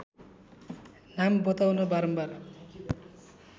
नाम बताउन बारम्बार